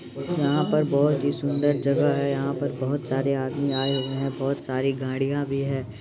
यहां पर बोहोत ही सुन्दर जगह है यहां पर बोहोत सारे आदमी आए हुए है बोहोत सारी गड़िया भी हैं ।